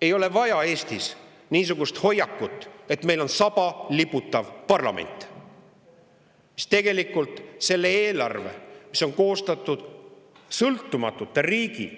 Ei ole vaja Eestis niisugust hoiakut, et meil on saba liputav parlament, mis tegelikult selles eelarves, mis on koostatud sõltumatute riigi